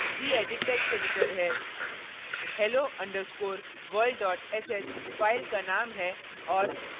gedit text editor है hello underscore world dot sh file का name है और